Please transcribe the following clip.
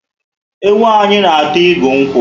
Ewu a anyị na ata igu nkwu